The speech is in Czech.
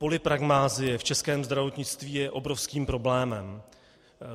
Polypragmasie v českém zdravotnictví je obrovským problémem.